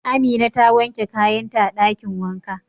Amina ta wanke kayan ta a dakin wanka.